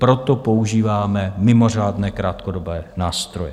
Proto používáme mimořádné krátkodobé nástroje.